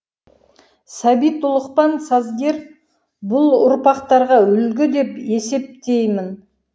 сәбит ұлықпан сазгер бұл ұрпақтарға үлгі деп есептеймін